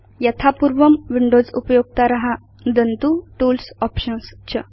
यथापूर्वं Windows उपयोक्तार नुदन्तु tools options